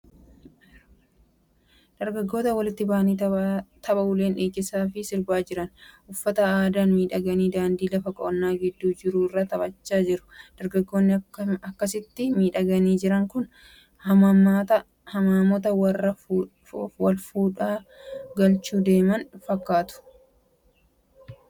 Dargaggoota walitti bahanii tapha uleen dhiichisaa fi sirbaa jiran. Uffata aadaan miidhaganii daandii lafa qonnaa gidduun jiru irra taphachaa jiru. Dargaggoonni akkasitti miidhaganii jiran kun hamaamota warra walfuudhan galchuuf deeman fakkaatu. Dargaggeessi yeroo akkam akkamii taphata?